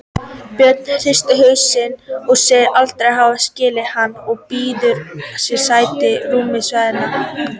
Bjössi hristir hausinn, segist aldrei hafa skilið hann og býður sér sæti á rúmi Svenna.